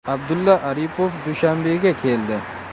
Abdulla Aripov Dushanbega keldi.